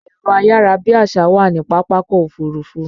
Ẹ̀rọ ayárabíàsá wà ní Pápákọ̀ Òfurufú